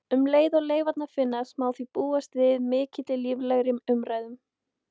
Um leið og leifarnar finnast má því búast við miklu líflegri umræðum.